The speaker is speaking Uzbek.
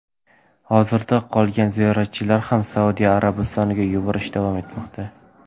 Hozirda qolgan ziyoratchilarni ham Saudiya Arabistoniga yuborish davom etmoqda.